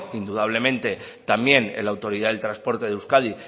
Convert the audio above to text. indudablemente también en la autoridad del transporte de euskadi